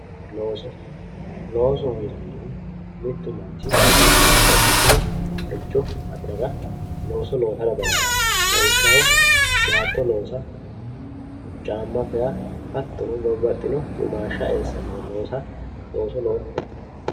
Looso, loosoho yinannihu mitu manchi babbaxxitinoricho afirara looso loossa dandaano lawishshaho baatto loossa caama faa hattono babbaxino eo eessano looso loossa looso loossate.